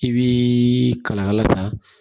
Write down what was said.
I bi kalakala ta